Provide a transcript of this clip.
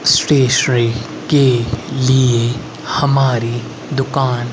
stationery के लिए हमारी दुकान--